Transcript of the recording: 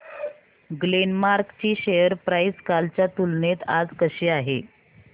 Glenmark ची share price कालच्या तुलनेत आज कशी आहे